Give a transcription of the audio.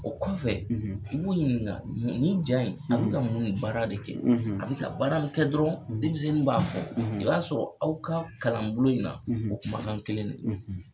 O kɔfɛ, , i b'u ɲininka nin ja in, , a bɛ ka mun de baara de kɛ, , a bɛ ka baara min kɛ dɔrɔn, , denmisɛnnin b'a fɔ, , i b'a sɔrɔ aw ka kalanbolo in na , ,o kumakan kelen don.